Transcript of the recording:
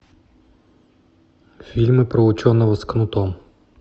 фильмы про ученого с кнутом